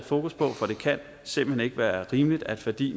fokus på for det kan simpelt hen ikke være rimeligt at fordi